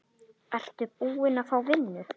Ertu búin að fá vinnu?